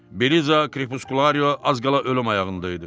Beliza Krepuskulario az qala ölüm ayağında idi.